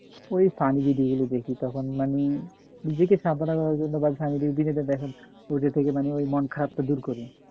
ওই funny video গুলো দেখি তখন মানে নিজেকে সাদা মন খারাপ কে দূর করে